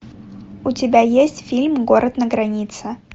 у тебя есть фильм город на границе